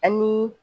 Ani